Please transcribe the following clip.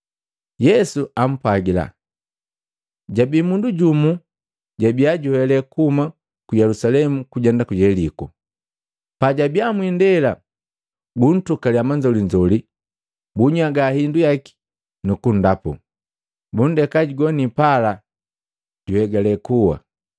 Yesu ampwagila, “Jabii mundu jumu jabia juhele kuhuma ku Yelusalemu kujenda ku Yeliko. Pajabiya mwiindela buntukalya manzolinzoli, bunnyaga hindu yaki nukundapu, bundeka jugoni pala juhegale kuwa.